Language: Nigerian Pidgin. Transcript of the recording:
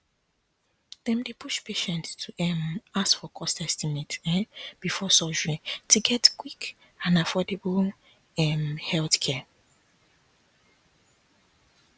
dem dey push patients to um ask for cost estimate um before surgery to get quick and affordable um healthcare